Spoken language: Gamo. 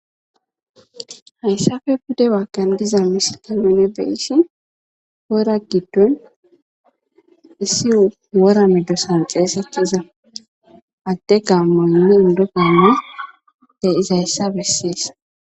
Haysappe pude bagan deyzza misile ta be'shin wora giddon issi wora medossan xegetiza adde gamoynne inddi gamoy deyizayssa besses.